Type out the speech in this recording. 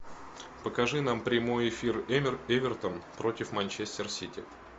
покажи нам прямой эфир эвертон против манчестер сити